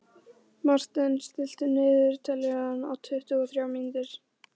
Marten, stilltu niðurteljara á tuttugu og þrjár mínútur.